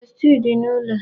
Besti dị n'ụlọ